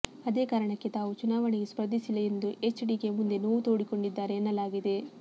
ಅದೇ ಕಾರಣಕ್ಕೆ ತಾವು ಚುನಾವಣೆಗೆ ಸ್ಪರ್ಧಿಸಿಲ್ಲ ಎಂದು ಎಚ್ ಡಿಕೆ ಮುಂದೆ ನೋವು ತೋಡಿಕೊಂಡಿದ್ದಾರೆ ಎನ್ನಲಾಗಿದೆ